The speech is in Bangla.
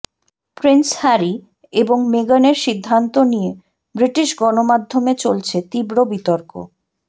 প্রিন্স হ্যারি এবং মেগানের সিদ্ধান্ত নিয়ে ব্রিটিশ গণমাধ্যমে চলছে তীব্র বিতর্ক